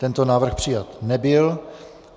Tento návrh přijat nebyl.